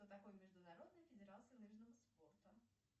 что такое международная федерация лыжного спорта